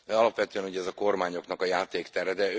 Alapvetően ez a kormányoknak a játéktere.